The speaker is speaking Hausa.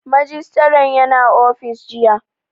Majistare ya na ofis jiya